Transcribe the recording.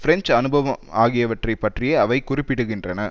French அனுபவம் ஆகியவற்றை பற்றியே அவை குறிப்பிடுகின்றன